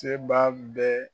Seba bɛ